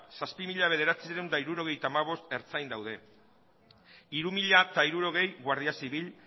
zazpi mila bederatziehun eta hirurogeita hamabost ertzain daude hiru mila hirurogei guardia zibil